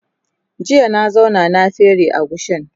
jiya na zauna na fere agushin